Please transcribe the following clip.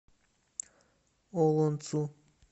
олонцу